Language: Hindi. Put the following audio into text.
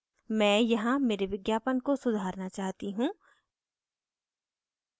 मैं यहाँ मेरे विज्ञापन को सुधारना चाहती हूँ